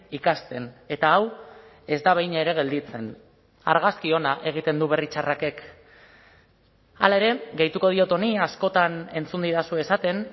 ikasten eta hau ez da behin ere gelditzen argazki ona egiten du berri txarrakek hala ere gehituko diot honi askotan entzun didazue esaten